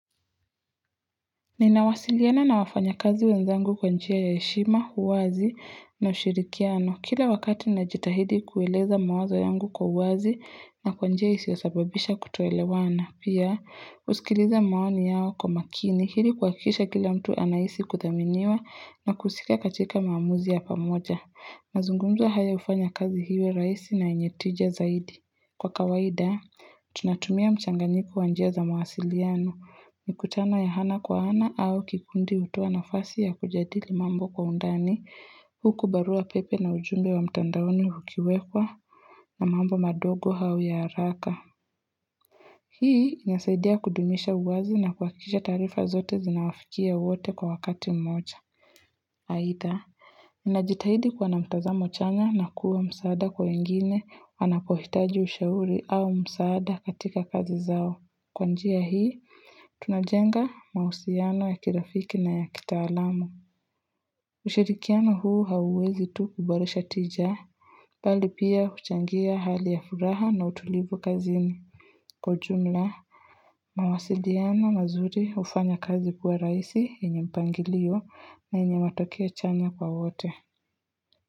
Ninawasiliana na wafanya kazi wenzangu kwa njia ya heshima, uwazi na ushirikiano. Kila wakati najitahidi kueleza mawazo yangu kwa uwazi na kwa njia isiyosababisha kutoelewana. Pia, huskiliza maoni yao kwa makini ili kuhakikisha kila mtu anahisi kuthaminiwa na kusika katika maamuzi ya pamoja. Mazungumzo hayo hufanya kazi iwe rahisi na yenye tija zaidi. Kwa kawaida, tunatumia mchanganyiko wa njia za mawasiliano. Mikutano ya ana kwa ana au kikundi hutuoa nafasi ya kujadili mambo kwa undani, huku barua pepe na ujumbe wa mtandaoni ukiwekwa na mambo madogo au ya haraka. Hii inasaidia kudumisha uwazi na kuhakikisha taarifa zote zinawafikia wote kwa wakati mmoja. Aidha, ninajitahidi kuwa na mtazamo chanya na kuwa msaada kwa wengine wanapohitaji ushauri au msaada katika kazi zao. Kwa njia hii, tunajenga mahusiano ya kirafiki na ya kitaalamu. Ushirikiano huu hauwezi tu kuboresha tija. Bali pia huchangia hali ya furaha na utulivu kazini. Kwa jumla, mawasiliana mazuri hufanya kazi kuwa rahisi yenye mpangilio na yenye matokeo chanya kwa wote.